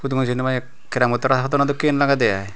dumoh jenowpai cramod hara hodonye dokkey lagedey i.